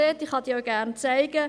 Ich kann diese auch gerne zeigen.